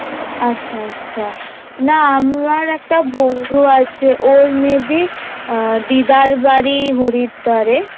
আচ্ছা আচ্ছা না আমার একটা বন্ধু আছে ওর may be দিদার বাড়ি হরিদ্বারে